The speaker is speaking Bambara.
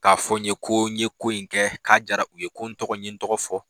K'a fɔ n ye ko n ye ko in kɛ k'a jara u ye, ko n tɔgɔ n ɲe n tɔgɔ fɔ.